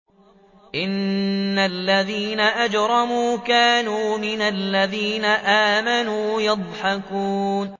إِنَّ الَّذِينَ أَجْرَمُوا كَانُوا مِنَ الَّذِينَ آمَنُوا يَضْحَكُونَ